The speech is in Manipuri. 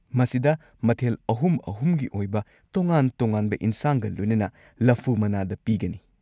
ꯃꯁꯤꯗ ꯃꯊꯦꯜ ꯑꯍꯨꯝ-ꯑꯍꯨꯝꯒꯤ ꯑꯣꯏꯕ ꯇꯣꯉꯥꯟ-ꯇꯣꯉꯥꯟꯕ ꯏꯟꯁꯥꯡꯒ ꯂꯣꯏꯅꯅ ꯂꯐꯨ ꯃꯅꯥꯗ ꯄꯤꯒꯅꯤ꯫